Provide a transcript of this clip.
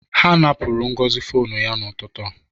Ha napụrụ Ngozi fonu ya n'ụtụtụ a.